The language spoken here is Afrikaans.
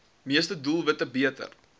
meeste doelwitte beter